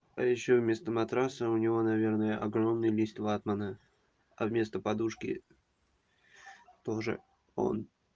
а ещё вместо матраса у него наверное огромный лист ватмана а вместо подушки тоже он